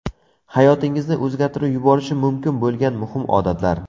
Hayotingizni o‘zgartirib yuborishi mumkin bo‘lgan muhim odatlar.